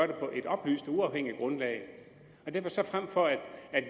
det på et oplyst og uafhængigt grundlag så frem for at